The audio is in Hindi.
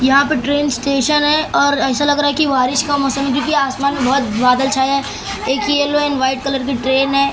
यहाँ पे ट्रेन स्टेशन है और ऐसा लग रहा कि बारिश का मौसम क्योंकि आसमान में बहुत बादल छाया है एक येल्लो एण्ड व्हाइट कलर की ट्रेन है ।